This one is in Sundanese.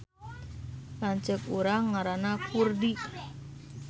Lanceuk urang ngaranna Kurdi